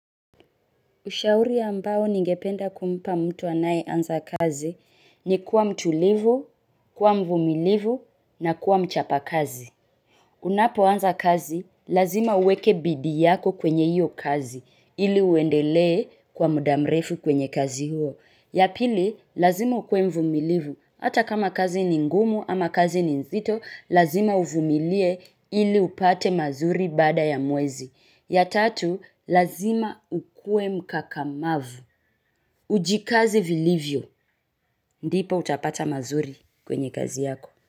Ushauri ambao ningependa kumpa mtu anayeanza kazi ni kuwa mtulivu, kuwa mvumilivu na kuwa mchapakazi. Unapoanza kazi, lazima uweke bidii yako kwenye hiyo kazi ili uendelee kwa muda mrefu kwenye kazi huo. Ya pili, lazima ukuwe mvumilivu. Hata kama kazi ni ngumu ama kazi ni nzito, lazima uvumilie ili upate mazuri baada ya mwezi. Ya tatu, lazima ukue mkakamavu. Ujikaze vilivyo, ndipo utapata mazuri kwenye kazi yako.